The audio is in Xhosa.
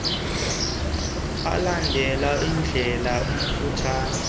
alande undlela mfutshane